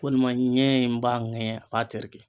Walima ɲɛ in b'a ŋɛɲɛ a b'a tereke.